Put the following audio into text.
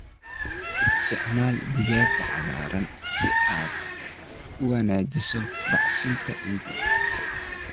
Isticmaal digada cagaaran si aad u wanaajiso bacrinta ciidda.